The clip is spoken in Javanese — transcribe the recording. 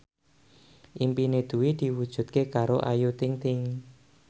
impine Dwi diwujudke karo Ayu Ting ting